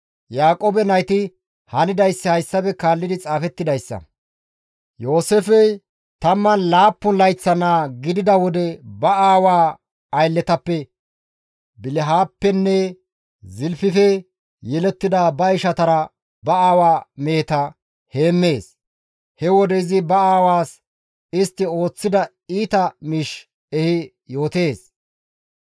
Yaaqoobe nayti hanidayssi hayssafe kaallidi xaafettidayssa. Yooseefey 17 layththa naa gidida wode ba aawaa aylletappe, Bilihappenne Zilfife yelettida ba ishatara ba aawa meheta heemmees; he wode izi ba aawaas istti ooththida iita miish ehi yootees.